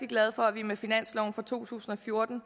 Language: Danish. glad for at vi med finansloven for to tusind og fjorten